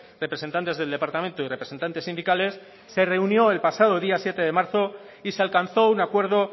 representantes del departamento y representantes sindicales se reunió el pasado día siete de marzo y se alcanzó un acuerdo